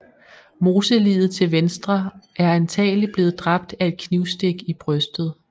Moseliget til venstre er antagelig blevet dræbt af et knivstik i brystet